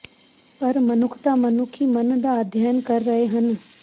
ਪਰ ਮਨੁੱਖਤਾ ਮਨੁੱਖੀ ਮਨ ਦਾ ਅਧਿਐਨ ਕਰ ਰਹੇ ਹਨ